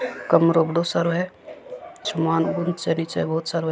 कमरों बड़ो सारो है सामान भी निचे बहुत सारो है।